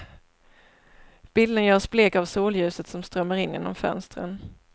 Bilden görs blek av solljuset som strömmar in genom fönstren.